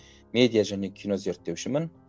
медиа және кино зерттеушімін